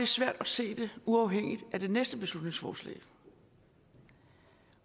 svært at se det uafhængigt af det næste beslutningsforslag